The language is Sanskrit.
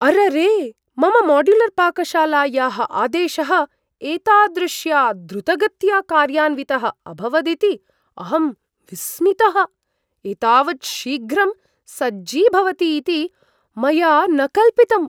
अररे! मम माड्युलर्पाकशालायाः आदेशः एतादृश्या द्रुतगत्या कार्यान्वितः अभवदिति अहं विस्मितः, एतावत् शीघ्रं सज्जीभवति इति मया न कल्पितम्!